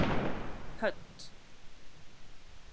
Hödd